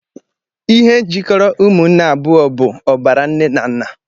Ihe jikọrọ ụmụnne abụọ bụ ọbara nne na nna